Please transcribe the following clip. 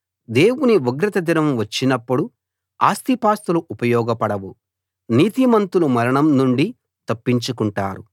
దేవుని ఉగ్రత దినం వచ్చినప్పుడు ఆస్తిపాస్తులు ఉపయోగపడవు నీతిమంతులు మరణం నుండి తప్పించు కుంటారు